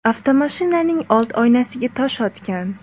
avtomashinaning old oynasiga tosh otgan.